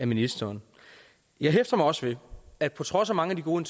ministeren jeg hæfter mig også ved at på trods af mange af de gode